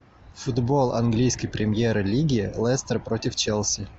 футбол английской премьер лиги лестер против челси